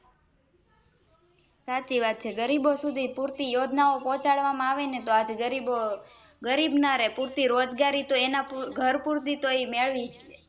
સાચી વાત છે ગરીબો સુધી પુરતી યોજના ઓં પોહ્ચાડવા માં આવે ને તો આજે ગરીબો ગરીબ ના રે પુરતી રોજગારીતો ઘર પુરતીતો ઈમેળવી જલે